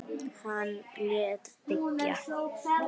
Hann lét byggja